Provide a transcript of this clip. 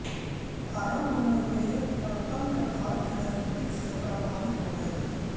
आरम्भ में वे परतन्त्र भारत की राजनीति से प्रभावित हो गये थे